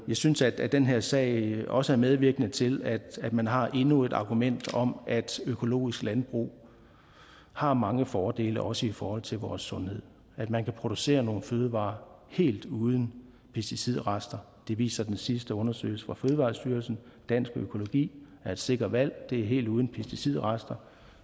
synes at den her sag også er medvirkende til at man har endnu et argument for at økologisk landbrug har mange fordele også i forhold til vores sundhed at man kan producere nogle fødevarer helt uden pesticidrester viser den sidste undersøgelse fra fødevarestyrelsen dansk økologi er et sikkert valg det er helt uden pesticidrester